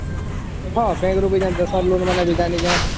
ହଁ bank ରୁ ବି ଯାନ୍ତି loan ଦେବାକେ ଜାଣିସେ